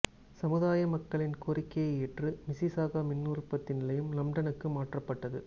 சமுதாய மக்களின் கோரிக்கையை ஏற்று மிஸ்ஸிசாகா மின் உற்பத்தி நிலையம் லம்ப்டனுக்கு மாற்றப்பட்டது